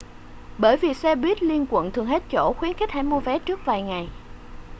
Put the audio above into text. bởi vì xe buýt liên quận thường hết chỗ khuyến khích hãy mua vé trước vài ngày